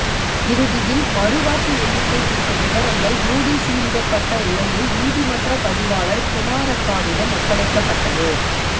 இறுதியில் மறுவாக்கு எண்ணிக்கை குறித்த விவரங்கள் மூடி சீலிடப்பட்ட உரையில் நீதிமன்ற பதிவாளர் குமாரப்பாவிடம் ஒப்படைக்கப்பட்டது